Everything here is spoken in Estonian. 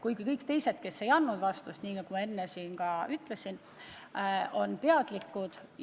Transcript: Aga kõik teised, kes ei saatnud vastust, on, nagu ma enne ütlesin, asjast teadlikud.